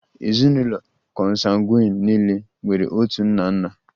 Ezinụlọ Kọnsangwin niile nwere otu nna nna